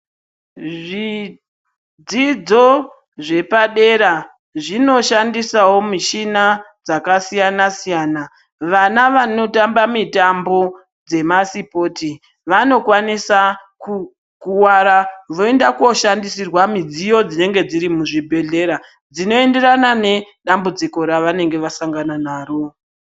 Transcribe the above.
Zvidzidzo zvepadera zvinoshandisawo michina dzakasiyana siyana ,vana vanotamba mitambo dzemasipoti vanokwanisa kukuwara voenda koshandisirwa midziyo dzinenge dzirimuzvibhedlera dzinoenderana ngedambudziko ravanenge vasangana naro.